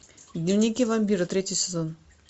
дневники вампира третий сезон